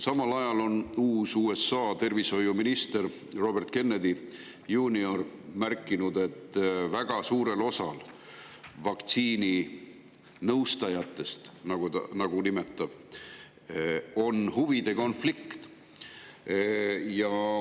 Samal ajal on uus USA tervishoiuminister Robert Kennedy juunior märkinud, et väga suurel osal vaktsiininõustajatest, nagu ta neid nimetab, on huvide konflikt.